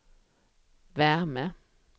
värme